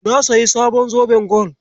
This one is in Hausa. Na sayi sabon zoben gwal.